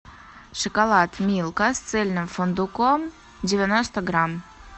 шоколад милка с цельным фундуком девяносто грамм